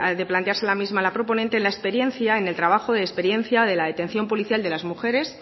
de plantearse la misma la proponente la experiencia en el trabajo de experiencia de la detención policial de las mujeres